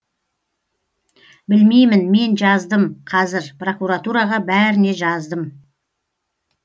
білмеймін мен жаздым қазір прокуратураға бәріне жаздым